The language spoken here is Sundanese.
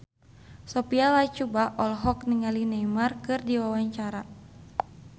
Sophia Latjuba olohok ningali Neymar keur diwawancara